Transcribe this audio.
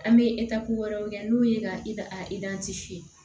An bɛ wɛrɛw kɛ n'o ye ka